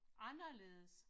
Anderledes